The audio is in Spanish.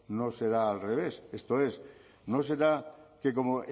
no será al revés esto es no será que como